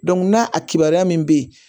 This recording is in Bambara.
n'a a kibaruya min be yen